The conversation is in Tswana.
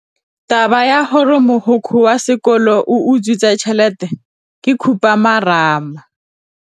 Taba ya gore mogokgo wa sekolo o utswitse tšhelete ke khupamarama.